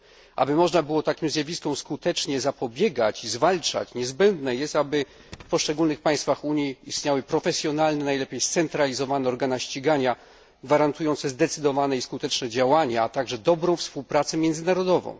Aby można było takim zjawiskom skutecznie zapobiegać i zwalczać je, niezbędne jest, aby w poszczególnych państwach Unii istniały profesjonalne, najlepiej scentralizowane, organa ścigania gwarantujące zdecydowane i skuteczne działania, a także dobrą współpracę międzynarodową.